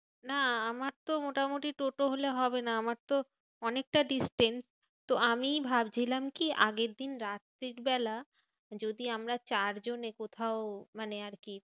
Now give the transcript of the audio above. না আমার তো মোটামুটি টোটো হলে হবে না। আমার তো অনেকটা distance. তো আমি ভাবছিলাম কি আগের দিন রাত্রির বেলা যদি আমরা চার জনে কোথাও মানে আরকি।